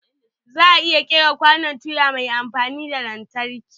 Za'a iya ƙera kwanon tuya mai amfani da lantarki.